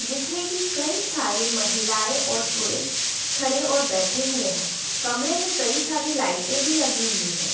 जिसमें की कई सारे महिलाएं और पुरुष खड़े और बैठे हुए हैं। कमरे में कई सारे लाइटे भी लगी हुई हैं।